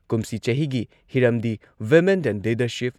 ꯀꯨꯝꯁꯤ ꯆꯍꯤꯒꯤ ꯍꯤꯔꯝꯗꯤ ꯋꯤꯃꯦꯟ ꯏꯟ ꯂꯤꯗꯔꯁꯤꯞ